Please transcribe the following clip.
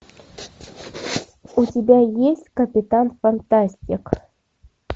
у тебя есть капитан фантастик